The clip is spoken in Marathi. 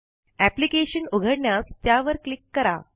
एप्लिकेशन उघडण्यास त्यावर क्लिक करा